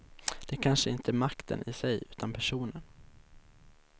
Det är kanske inte makten i sig utan personen.